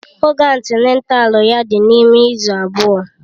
Oge antịnátál ya dị n'ime izu abụọ